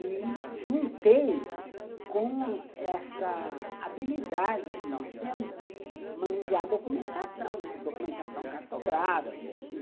E juntei com essa habilidade que nós temos de manusear documentação, né, documentação cartográfica, enfim.